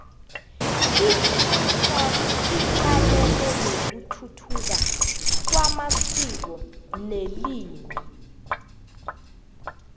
ipansalp icalene nokuthuthuka kwamasiko nelimi